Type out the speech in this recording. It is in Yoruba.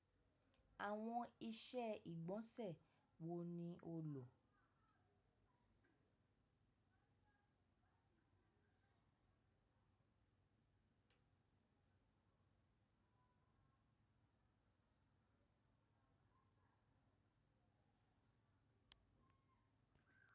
Àwọn iṣẹ́ ìgbọ̀nsẹ̀ wo ni o lò?